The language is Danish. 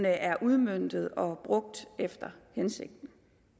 er udmøntet og brugt efter hensigten